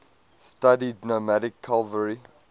studied nomadic cavalry